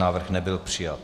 Návrh nebyl přijat.